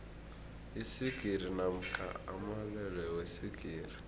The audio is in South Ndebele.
iswigiri namkha amalwelwe weswigiri